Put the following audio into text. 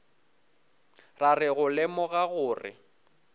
ra re go lemoga gore